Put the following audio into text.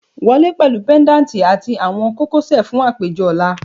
Wọle pẹlu pendanti ati awọn kokosẹ fun apejọ ọla